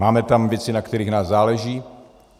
Máme tam věci, na kterých nám záleží.